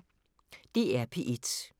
DR P1